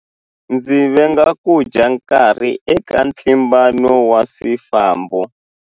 Ndzi venga ku dya nkarhi eka ntlimbano wa swifambo.